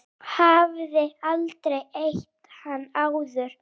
Hafði aldrei hitt hann áður.